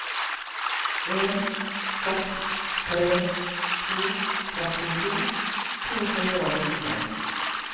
en seks tre to trettito to hundre og nitten